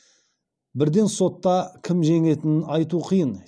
бірден сотта кім жеңетінін айту қиын